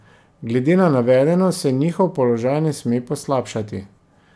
Glede na navedeno se njihov položaj ne sme poslabšati.